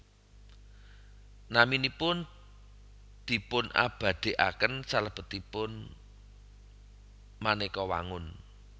Naminipun dipunabadhikaken salebetipun manéka wangun